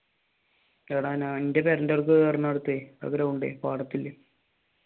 എടാ എന്റെ പുര ആ ഗ്രൗണ്ട് പാടത്തിൽ